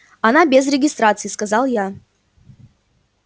она без регистрации сказал я